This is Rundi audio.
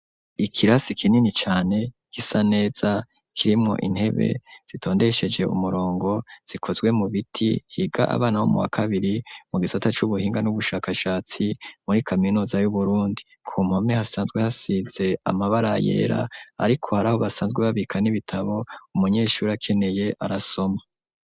Ikirasi kinini cane gisa neza kirimwo intebe zitondesheje umurongo zikozwe mu biti higa abana bo mu wa kabiri mu gisata cy'ubuhinga n'ubushakashatsi muri kaminuza y'uburundi ku mpame hasanzwe hasize amabara yera ariko hari aho basanzwe babikana ibitabo umunyeshuri akeneye arasoma.